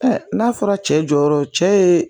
n'a fɔra cɛ jɔyɔrɔ cɛ ye